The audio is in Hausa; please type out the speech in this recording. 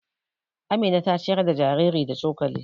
Amina ta ciyar da jariri da cokali.